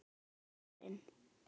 Hann pabbi er farinn.